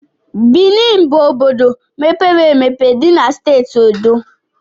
Bini bụ obodo mepere emepe dị na Steeti Edo.